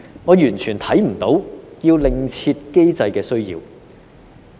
我完全看不到要另設機制的需要。